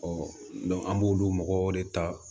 an b'olu mɔgɔw de ta